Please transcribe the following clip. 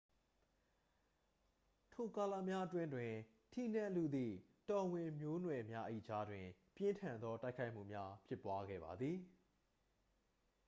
ထိုကာလများအတွင်းတွင် ထီးနန်းလုသည့် တော်ဝင်မျိုးနွယ်များ၏ကြားတွင် ပြင်းထန်သောတိုက်ခိုက်မှုများ ဖြစ်ပွားခဲ့ပါသည်